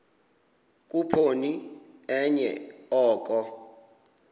khuphoni enye oko